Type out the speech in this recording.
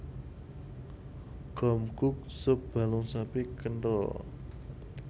Gomguk sup balung sapi kenthel